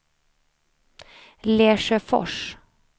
Lesjöfors